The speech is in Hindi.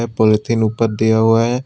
ये पॉलिथीन ऊपर दिया हुआ है।